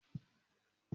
Mo fẹ́ jẹ ìpápánu díndín